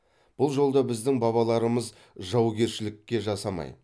бұл жолда біздің бабаларымыз жаугершілікке жасамай